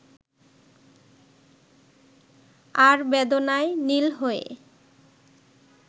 আর বেদনায় নীল হয়ে